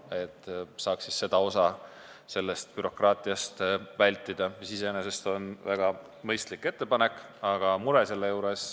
Nii saaks seda osa bürokraatiast vältida, mis on iseenesest väga mõistlik ettepanek.